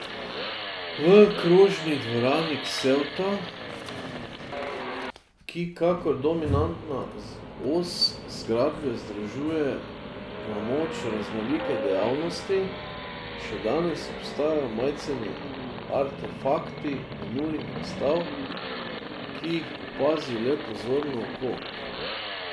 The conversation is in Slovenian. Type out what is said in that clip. V krožni dvorani Ksevta, ki kakor dominantna os zgradbe združuje na moč raznolike dejavnosti, še danes obstajajo majceni artefakti minulih razstav, ki jih opazi le pozorno oko.